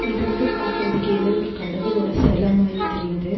இது வந்து பாக்குறதுக்கு ஏதோ ஒரு கடவுளோட செல மாரி தெரியிது.